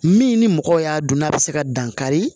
Min ni mɔgɔw y'a don n'a bɛ se ka dankari